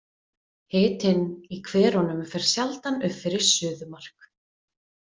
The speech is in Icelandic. Hitinn í hverunum fer sjaldan upp fyrir suðumark.